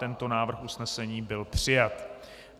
Tento návrh usnesení byl přijat.